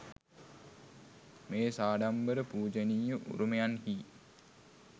මේ සාඩම්බර පූජනීය උරුමයන්හි